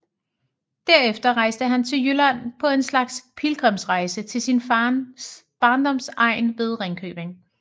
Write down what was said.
Derefter rejste han til Jylland på en slags pilgrimsrejse til sin fars barndomsegn ved Ringkøbing